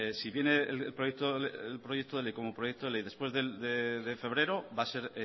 si bien el proyecto de ley como proyecto de ley después de febrero va a ser